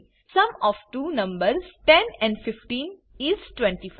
sum of two numbers 10 and 15 is 25